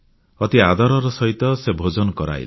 ଅତି ଆଦରର ସହିତ ସେ ଭୋଜନ କରେଇଲେ